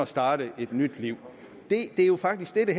starte et nyt liv det er jo faktisk det